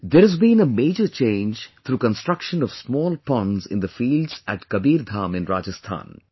There has been a major change through construction of small ponds in the fields at Kabirdham in Rajasthan